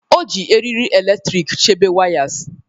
O ji eriri eletrik chebe wires.